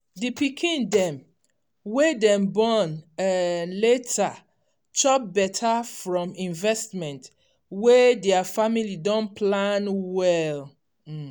di pikin dem wey dem born um later chop better from investment wey their family don plan well.